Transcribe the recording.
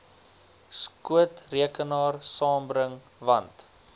skootrekenaar saambring want